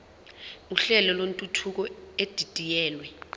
uhlelo lwentuthuko edidiyelwe